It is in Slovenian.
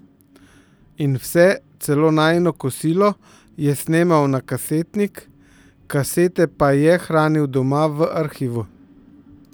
In vse, celo najino kosilo, je snemal na kasetnik, kasete pa je hranil doma v arhivu.